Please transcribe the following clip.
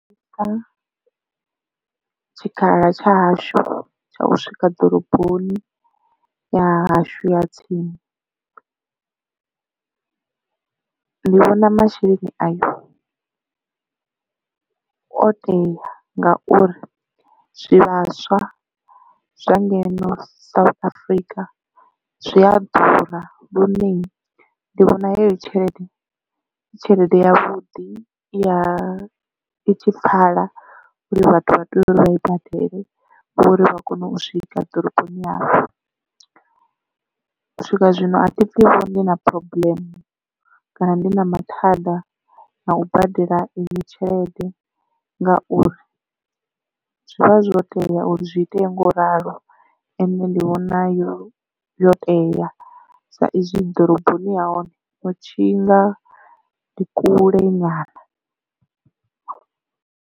Tshikhala tsha hashu tsha u swika ḓoroboni ya hashu ya tsini ndi vhona masheleni ayo o tea nga uri zwivhaswa zwa ngeno South Africa zwi a ḓura lune ndi vhona heyo tshelede i tshelede ya vhuḓi ya i tshi pfala uri vhathu vha tea uri vha i badele hu uri vha kone u swika ḓoroboni hafhu. U swika zwino a thi pfhi vho ndi na phurobuḽeme kana ndi na mathada na u badela iyi tshelede ngauri zwi vha zwo tea uri zwi itee ngo ralo ende ndi vhona yo yo teya sa izwi ḓoroboni ya hone hu tshinga ndi kule nyana.